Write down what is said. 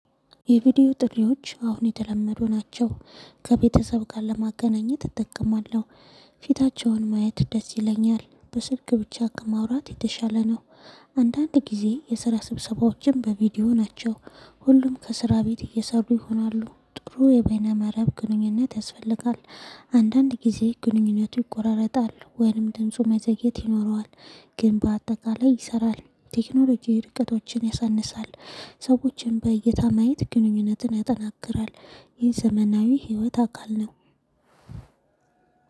የቪዲዮ ጥሪዎች አሁን የተለመዱ ናቸው ከቤተሰብ ጋር ለማገናኘት እጠቀማለሁ ፊታቸውን ማየት ደስ ይለኛል በስልክ ብቻ ከማውራት የተሻለ ነው። አንዳንድ ጊዜ የስራ ስብሰባዎችም በቪዲዮ ናቸው ሁሉም ከስራ ቤት እየሰሩ ይሆናሉ ጥሩ የበይነ መረብ ግንኙነት ያስፈልጋል። አንዳንድ ጊዜ ግንኙነቱ ይቆራረጣል ወይንም ድምፁ መዘግየት ይኖረዋል። ግን በአጠቃላይ ይሰራል ቴክኖሎጂ ርቀቶችን ያሳንሳል። ሰዎችን በእይታ ማየት ግንኙነትን ያጠናክራል። ይህ ዘመናዊ ህይወት አካል ነው።